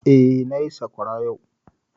Eh, na yi sakwara yau